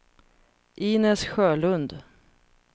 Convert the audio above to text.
Inez Sjölund